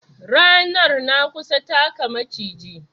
Ranar na kusa taka Maciji